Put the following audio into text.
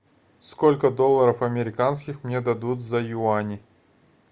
сколько долларов американских мне дадут за юани